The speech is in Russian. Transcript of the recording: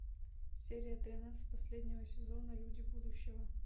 серия тринадцать последнего сезона люди будущего